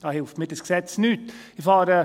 Da hilft mir dieses Gesetz nicht weiter.